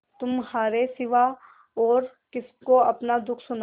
तुम्हारे सिवा और किसको अपना दुःख सुनाऊँ